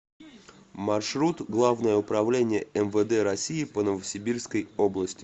маршрут главное управление мвд россии по новосибирской области